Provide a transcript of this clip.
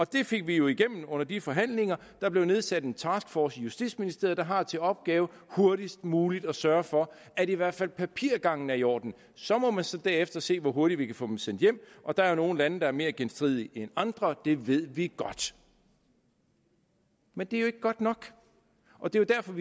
det fik vi jo igennem under de forhandlinger der blev nedsat en taskforce i justitsministeriet der har til opgave hurtigst muligt at sørge for at i hvert fald papirgangen er i orden så må man så derefter se hvor hurtigt vi kan få dem sendt hjem og der er nogle lande der er mere genstridige end andre det ved vi godt men det er jo ikke godt nok og det er derfor